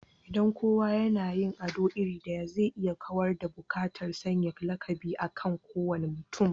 Idan kowa yana yin ado iri ɗaya, zai iya kawar da buƙatar sanya lakabi akan kowane mutum